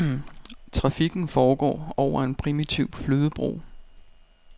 Trafikken foregår over en primitiv flydebro.